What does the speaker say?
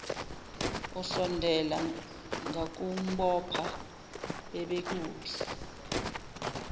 usondela ngakumbopha bebekuphi